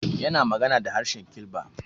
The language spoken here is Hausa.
Yana ta magana da harshe Kilba.